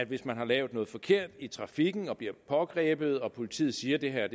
hvis man har lavet noget forkert i trafikken og bliver pågrebet og politiet siger at det her